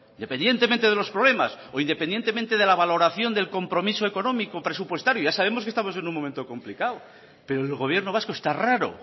dependientemente de los problemas o independientemente de la valoración del compromiso económico presupuestario ya sabemos que estamos en un momento complicado pero el gobierno vasco esta raro